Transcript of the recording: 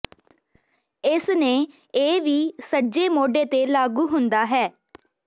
ਇਸ ਨੇ ਇਹ ਵੀ ਸੱਜੇ ਮੋਢੇ ਤੇ ਲਾਗੂ ਹੁੰਦਾ ਹੈ